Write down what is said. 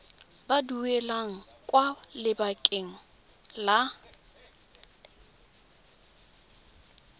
ba duelang kwa lekaleng la